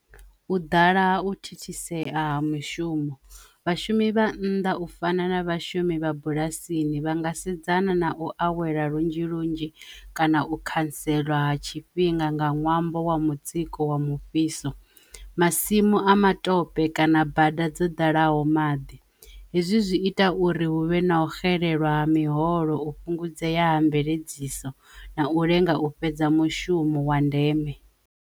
U ḓala ha u thithisea mishumo vhashumi vha nnḓa u fana na vhashumi vha bulasini vha nga sedzana na u awela lunzhi lunzhi kana khantselwa ha tshifhinga nga ṅwambo wa mutsiko wa mufhiso, masimu a matope kana bada dzo ḓalaho maḓi hezwi zwi ita uri huvhe na u xelelwa miholo u fhungudzea ha mveledziso na u lenga u fhedza mushumo wa ndeme.